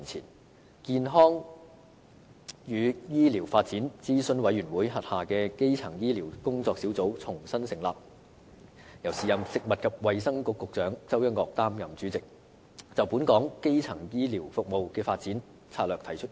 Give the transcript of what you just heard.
當時，健康與醫療發展諮詢委員會轄下的基層醫療工作小組重新成立，由時任食物及衞生局局長周一嶽擔任主席，就本港基層醫療服務的發展策略提出意見。